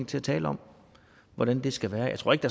til at tale om hvordan det skal være jeg tror ikke